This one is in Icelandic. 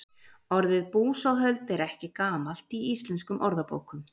orðið búsáhöld er ekki gamalt í íslenskum orðabókum